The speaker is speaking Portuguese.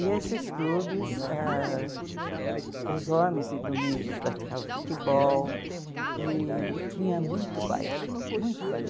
E esses clubes, ãh os homens de domingo praticavam futebol e tinha muito baile, muito baile.